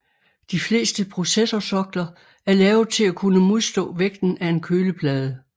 De fleste processorsokler er lavet til at kunne modstå vægten af en køleplade